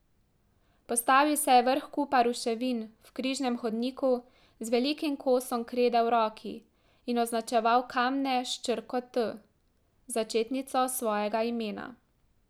Postavil se je vrh kupa ruševin v križnem hodniku z velikim kosom krede v roki in označeval kamne s črko T, začetnico svojega imena.